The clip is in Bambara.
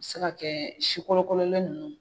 U bɛ se ka kɛ sikɔlɔkɔlɛn ninnu.